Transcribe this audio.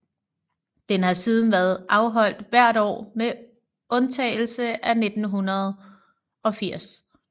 Den har siden været afholdt hvert år med undtagelse af 1980